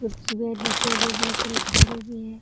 कुर्सी है नीचे में बहोत सारा झाड़ू भी है |